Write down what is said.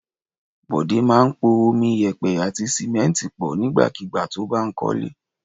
Bọ̀dé máa ń po omi, ìyẹ̀pẹ̀ àti sìmẹ́ńtì pọ̀ nígbàkigbà tó bá ń kọ́lé.